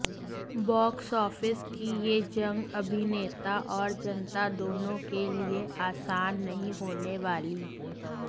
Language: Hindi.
बॉक्स ऑफिस की ये जंग अभिनेता और जनता दोनों के लिए आसान नहीं होने वाली